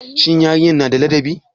Shin yarinyar na da ladabi.